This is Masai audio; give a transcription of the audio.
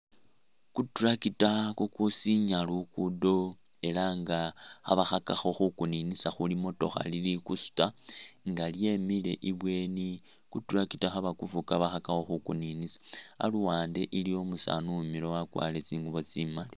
Ku tractor kukusinya lukudo ela nga khabakhakakho khukuninisa khulimotokha lili kusuta nga lyemile i'bweni, Ku tractor khabakufuga khabakhakakho khukuninisa aluwa nde iliwo umusaani uwimiliwo wakwalire tsingubo tsimaali